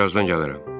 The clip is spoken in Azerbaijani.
Mən birazdan gələrəm.